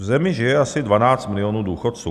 V zemi žije asi 12 milionů důchodců.